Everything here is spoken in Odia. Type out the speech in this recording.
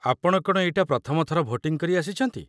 ଆପଣ କ'ଣ ଏଇଟା ପ୍ରଥମ ଥର ଭୋଟିଂ କରି ଆସିଛନ୍ତି?